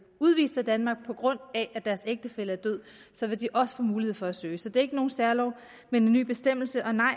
udvist af danmark på grund af at deres ægtefælle er død så vil de også få mulighed for at søge så det er ikke nogen særlov men en ny bestemmelse og nej